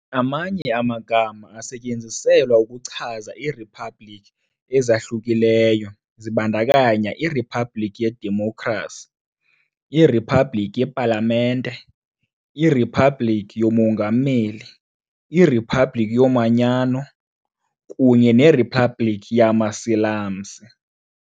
Amanye amagama asetyenziselwa ukuchaza iiriphabliki ezahlukileyo zibandakanya iriphabliki yedemokhrasi, iriphabliki yepalamente, iriphabliki yomongameli, iriphabliki yomongameli, iriphabliki yomanyano, kunye neRiphabhlikhi yamaSilamsi .